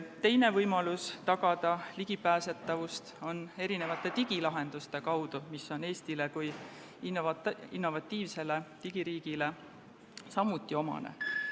Teine võimalus ligipääsetavust tagada on digilahendused, mis on Eestile kui innovatiivsele digiriigile samuti omased.